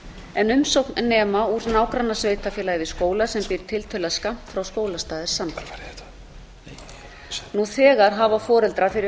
en umsókn nema úr nágrannasveitarfélagi við skóla sem býr tiltölulega skammt frá skólastað er samþykkt nú þegar hafa foreldrar fyrir